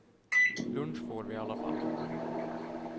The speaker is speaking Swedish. Lunch får vi i alla fall.